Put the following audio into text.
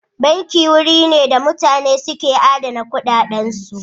Banki wuri ne da mutane ka adana kuɗaɗansu.